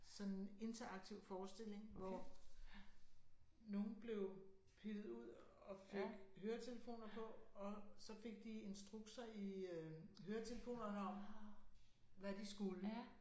Sådan en interaktiv forestilling hvor nogen blev pillet ud og fik høretelefoner på og så fik de instrukser i øh høretelefonerne om hvad de skulle